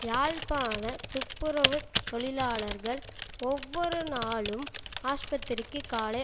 யாழ்ப்பாண துப்புரவுத் தொழிலாளர்கள் ஒவ்வொரு நாளும் ஆஸ்பத்திரிக்கு காலை